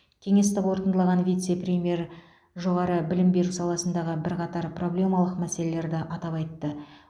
кеңесті қорытындылаған вице премьер жоғары білім беру саласындағы бірқатар проблемалық мәселелерді атап айтты